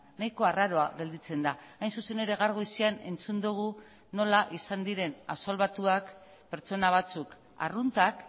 nahiko arraroa gelditzen da hain zuzen ere gaur goizean entzun dugu nola izan diren absolbatuak pertsona batzuk arruntak